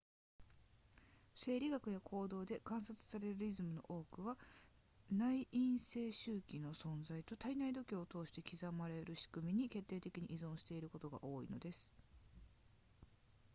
生理学や行動で観察されるリズムの多くは内因性周期の存在と体内時計を通して刻まれるしくみに決定的に依存していることが多いのです